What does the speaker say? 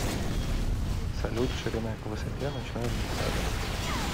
салют ширина к высоте ночной администратор